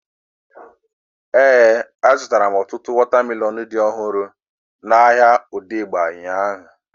Éè, a zụtara m ọtụtụ wọta melọnu dị ọhụrụ n'ahia Odegba ụnyaahụ